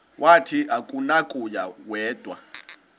wathi akunakuya wedw